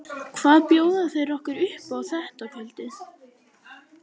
Hvað bjóða þeir okkur upp á þetta kvöldið?